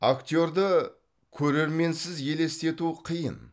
актерді көрерменсіз елестету қиын